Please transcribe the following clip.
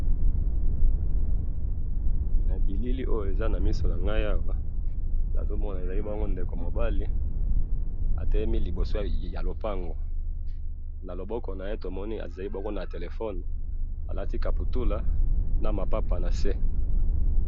Na bilili na moni ndeko na nga ya mobali oyo atelemi, aza ko tala téléphone, alati kabutùla n lipapa ya se